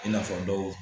I n'a fɔ dɔw